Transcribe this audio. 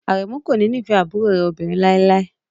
Aremu kò ní nífẹ̀ẹ́ àbúrò rẹ̀ obìnrin láéláé